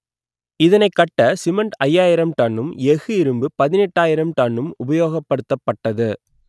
இதனைக் கட்ட சிமெண்ட் ஐயாயிரம் டன்னும் எஃகு இரும்பு பதினெட்டாயிரம் டன்னும் உபயோகப்படுத்தப்பட்டது